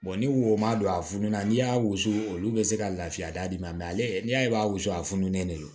ni wo ma don a funu na n'i y'a wusu olu be se ka lafiya d'i ma ale ni y'a ye i b'a wusu a fununen de don